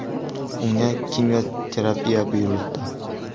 Unga kimyoterapiya buyurildi.